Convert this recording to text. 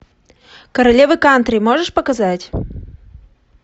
королева кантри можешь показать